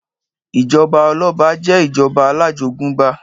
Ìjọba ọlọ́ba jẹ ìjọba alájogúnbá.